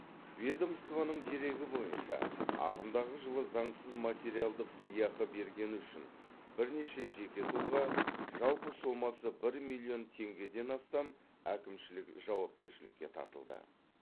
ведомствоның дерегі бойынша ағымдағы жылы заңсыз материалдық сыйақы бергені үшін бірнеше жеке тұлға жалпы сомасы бір миллион теңгеден астам әкімшілік жауапкершілікке тартылды